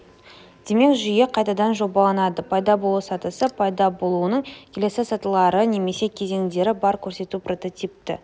демек жүйе қайтадан жобаланады пайда болу сатысы пайда болуының келесі сатылары немесе кезеңдері бар көрсету прототипі